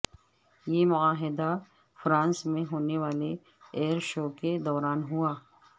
یہ معاہدہ فرانس میں ہونے والے ایئر شو کے دوران ہوا